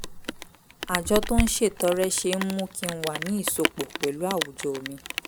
àjọ tó ń ṣètọrẹ ṣe ń mú kí n wà ní ìsopọ̀ pẹ̀lú àwùjọ mi